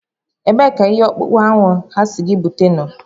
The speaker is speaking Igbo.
Ebee ka ihe ọkpụkpụ ahụ ha sị gị bute nọ?